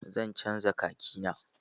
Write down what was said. Zan canza khaki na.